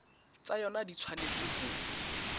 tsa yona di tshwanetse ho